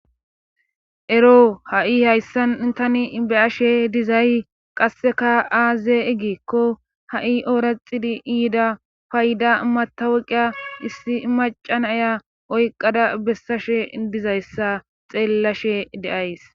Ero ha7i hayssan tani beyashe dizay qasseka aaze egikko ha7i ooraxidi iida payda mataweqiya issi macan aya oyqada bessashe dizayssa xeellashe deays.